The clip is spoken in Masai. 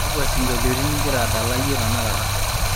kakwa sinkolioni inkira adala iyie tenakata